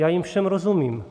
Já jim všem rozumím.